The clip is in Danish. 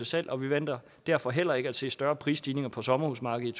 salg og vi venter derfor heller ikke at se større prisstigninger på sommerhusmarkedet